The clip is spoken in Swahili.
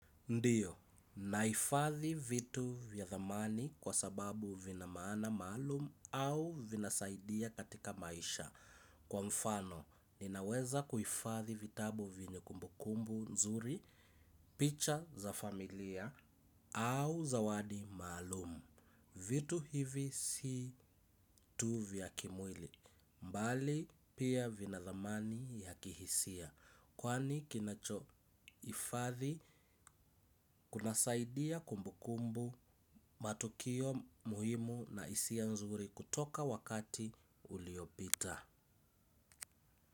Ndiyo, naifadhi vitu vya thamani kwa sababu vina maana malumu au vinasaidia katika maisha. Kwa mfano, ninaweza kuifadhi vitabu vyenye kumbukumbu nzuri, picha za familia au zawadi maalumu. Vitu hivi si tu vya kimwili, mbali pia vina thamani ya kihisia. Kwani kinacho ifadhi kuna saidia kumbukumbu matukio muhimu na hisia nzuri kutoka wakati uliopita.